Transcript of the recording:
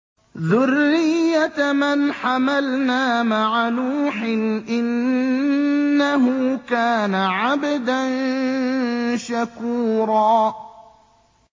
ذُرِّيَّةَ مَنْ حَمَلْنَا مَعَ نُوحٍ ۚ إِنَّهُ كَانَ عَبْدًا شَكُورًا